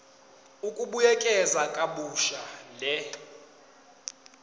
ukubuyekeza kabusha le